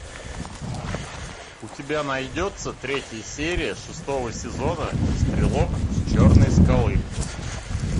у тебя найдется третья серия шестого сезона стрелок с черной скалы